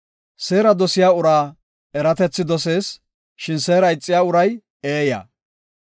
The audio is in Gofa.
Seera dosiya uray eratethi dosees; shin seera ixiya uray eeya.